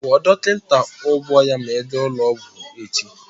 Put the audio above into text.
Kwụọ dọkịta ụgwọ ya ma ị gaa n'ụlọọgwụ echi!